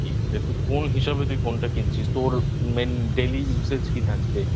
যেহেতু কোন হিসাবে তুই Phone টা কিনছিস? তোর Main Daily Usage কি থাকবে?